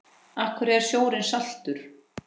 Af hverju er sjórinn saltur?